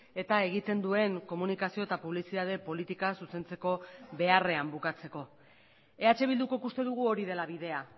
eta egiten duen komunikazio eta publizitate politika zuzentzeko beharrean bukatzeko eh bildukok uste dugu hori dela bidea